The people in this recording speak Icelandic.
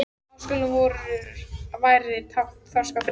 Háskóli vor væri tákn þroska og friðar.